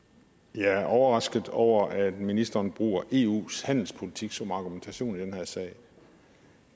jeg er overrasket over at ministeren bruger eus handelspolitik som argumentation i den her sag